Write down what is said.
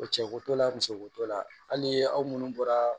O cɛ ko t'o la musoko t'o la hali aw minnu bɔra